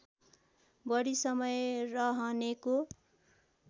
बढी समय रहनेको